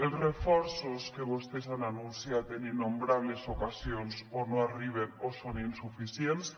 els reforços que vostès han anunciat en innombrables ocasions o no arriben o són insuficients